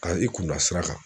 A i kun da sira kan